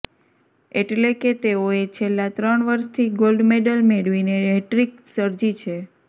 એટલે કે તેઓએ છેલ્લા ત્રણ વર્ષથી ગોલ્ડ મેડલ મેળવીને હેટ્રિક સર્જી છે